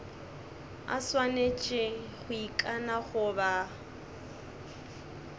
a swanetše go ikana goba